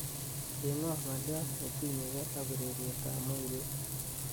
cheng'won ngolyot netimg'egen ak urerrget ab moiret